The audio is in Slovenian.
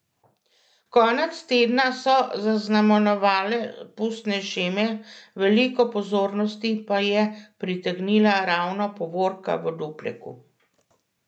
Konec tedna so zaznamovale pustne šeme, veliko pozornosti pa je pritegnila ravno povorka v Dupleku.